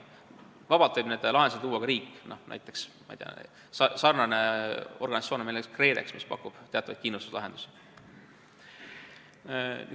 Vabalt võib neid lahendusi luua ka riik, selline organisatsioon on meil näiteks KredEx, mis pakub teatud kindlustuslahendusi.